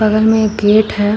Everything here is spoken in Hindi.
बगल मे एक गेट है।